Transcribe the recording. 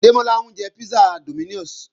Démọ́lá ń jẹ písà Dominos